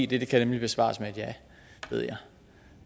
det kan besvares med et ja ved jeg